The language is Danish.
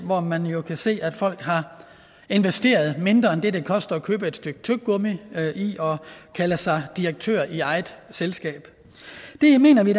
hvor man jo kan se at folk har investeret mindre end det det koster at købe et stykke tyggegummi i at kalde sig direktør i eget selskab det mener vi